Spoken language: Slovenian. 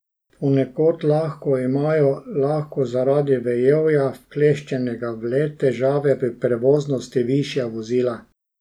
Ponekod lahko imajo lahko zaradi vejevja, vkleščenega v led, težave pri prevoznosti višja vozila.